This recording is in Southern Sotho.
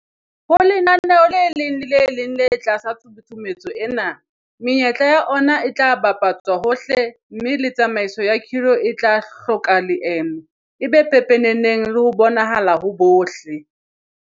Ho lenaneo le leng le le leng le ka tlasa tshusumetso ena, menyetla ya ona e tla bapa tswa hohle mme le tsamaiso ya khiro e tla hloka leeme, e be pepeneneng le ho bonahala ho bohle.